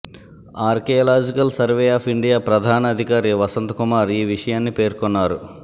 archaeological survey of India ప్రధాన అధికారి వసంత్ కుమార్ ఈ విషయాన్ని పేర్కొన్నారు